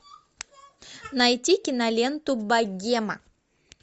найти киноленту богема